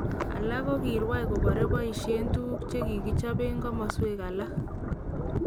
Alak kokirwai kobore boishen tuguk chekikochopen komoswek alak.